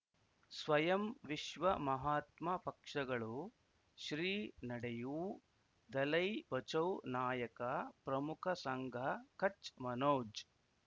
ಸ್ವಯಂ ವಿಶ್ವ ಮಹಾತ್ಮ ಪಕ್ಷಗಳು ಶ್ರೀ ನಡೆಯೂ ದಲೈ ಬಚೌ ನಾಯಕ ಪ್ರಮುಖ ಸಂಘ ಕಚ್ ಮನೋಜ್